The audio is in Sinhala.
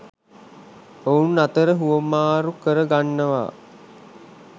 ඔවුන් අතර හුවමාරු කර ගන්නව